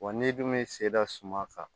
Wa n'i dun bɛ se da suma kan